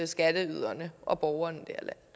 skatteyderne og borgerne